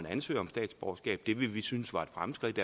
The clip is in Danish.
ansøger om statsborgerskab det ville vi synes var et fremskridt